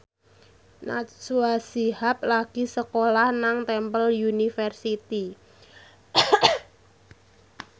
Najwa Shihab lagi sekolah nang Temple University